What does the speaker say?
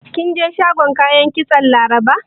Kin je shagon kayan kitson Laraba?